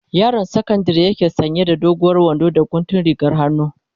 Yaron sakandari yake sanya da doguwar wando da guntun rigar hannu.